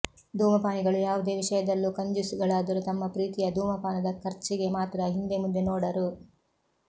ಧೂಮಪಾನಿಗಳು ಯಾವುದೇ ವಿಷಯದಲ್ಲೂ ಕಂಜೂಸ್ ಗಳಾದರೂ ತಮ್ಮ ಪ್ರೀತಿಯ ಧೂಮಪಾನದ ಖರ್ಜಿಗೆ ಮಾತ್ರ ಹಿಂದೆ ಮುಂದೆ ನೋಡರು